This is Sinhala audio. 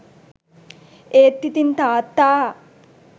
ඒත් ඉතිං තාත්තා